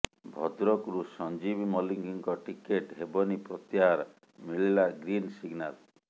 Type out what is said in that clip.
ଭଦ୍ରକରୁ ସଞ୍ଜୀବ ମଲ୍ଲିକଙ୍କ ଟିକେଟ୍ ହେବନି ପ୍ରତ୍ୟାହାର ମିଳିଲା ଗ୍ରୀନ୍ ସିଗନାଲ୍